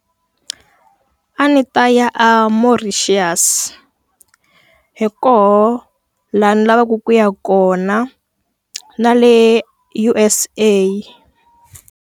A ni ta ya eMauritius. Hi koho laha ni lavaka ku ya kona na le U_S_A.